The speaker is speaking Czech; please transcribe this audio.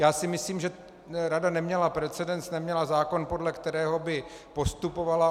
Já si myslím, že rada neměla precedens, neměla zákon, podle kterého by postupovala.